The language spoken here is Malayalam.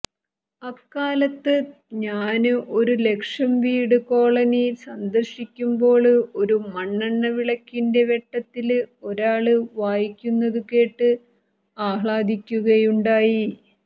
അക്കാലത്ത് ഞാന് ഒരു ലക്ഷംവീട് കോളനി സന്ദര്ശിക്കുമ്പോള് ഒരു മണ്ണെണ്ണ വിളക്കിന്റെ വെട്ടത്തില് ഒരാള് വായിക്കുന്നതുകേട്ട് ആഹ്ലാദിക്കുകയുണ്ടായി